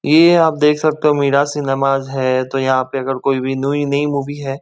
ये आप देख सकते हो मीराज सिनेमाज है। तो यहां पे अगर कोई भी न्यू नई मूवी है।